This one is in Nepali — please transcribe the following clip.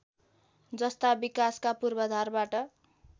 जस्ता विकासका पूर्वाधारबाट